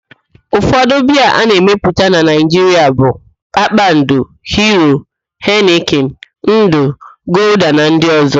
Ụfọdụ biaa a na-emepụta na Naịjiria bụ: Kpakpando, Hiro, Henịkin, Ndụ, Golda na ndị ọzọ